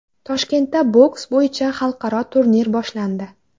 Toshkentda boks bo‘yicha xalqaro turnir boshlandi.